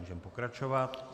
Můžeme pokračovat.